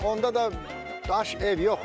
Onda da daş, ev yox idi.